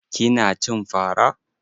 Kina cin fa ra?